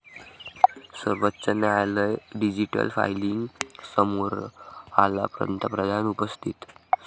सर्वोच्च न्यायालय digital filing समारोहाला पंतप्रधान उपस्थित